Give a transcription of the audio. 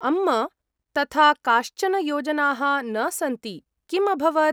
अम्म्, तथा काश्चन योजनाः न सन्ति, किम् अभवत् ?